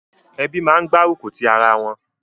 Ebí máa ń gbárùkù ti ara wọn.